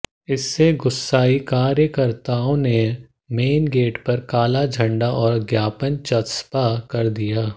इससे गुस्साए कार्यकर्ताओं ने मेन गेट पर काला झंडा और ज्ञापन चस्पा कर दिया